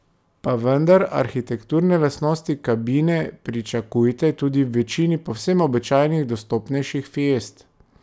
Pa vendar, arhitekturne lastnosti kabine pričakujte tudi v večini povsem običajnih, dostopnejših fiest.